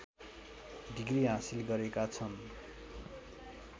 degree हासिल गरेका छन्